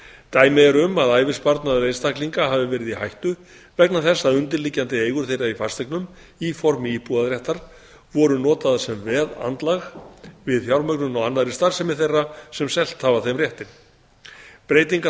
dæmi eru um að ævisparnaður einstaklinga hafi verið í hættu vegna þess að undirliggjandi eigur þeirra í fasteignum í formi íbúðarréttar voru notaðar sem veðandlag við fjármögnun á annarri starfsemi þeirra sem hafa selt þeim réttinn breytingar